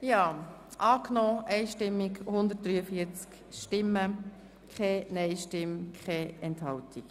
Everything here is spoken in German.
Sie haben das Postulat einstimmig angenommen.